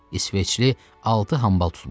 İsveçli altı hambal tutmuşdu.